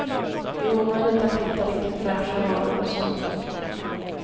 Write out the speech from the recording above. Det är omöjligt att hitta riktigt fräscha varor hos dem.